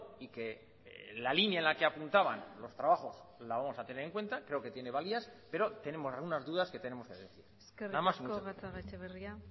y que en la línea en la que apuntaban los trabajos lo vamos a tener en cuenta creo que tiene valías pero tenemos algunas dudas que tenemos que definir nada más y muchas gracias eskerrik asko gatzagaetxebarria